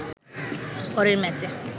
পরের ম্যাচে